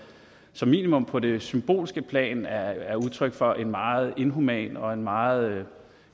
som minimum på det symbolske plan er er udtryk for en meget inhuman og en meget